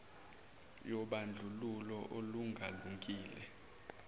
yobandlululo olunga lungile